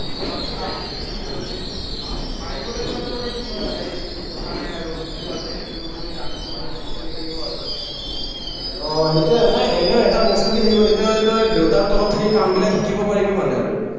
মই সেইটো try কৰি আছো, মানে যদি, পাই গ'লেতো মানে আৰু কি হয়, ভাই কথা নাই আৰু জুনটো আছে সেইটোৱেই run চলি থাকিব আৰু। অ সেইটোৱেই নাই এনেও এটা বস্তুকে থাকিব, তেতিয়া তই দেউতাৰ তলত থাকি কামবিলাক শিকিব পাৰিবি মানে আৰু।